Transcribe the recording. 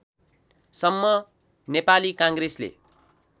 सम्म नेपाली काङ्ग्रेसले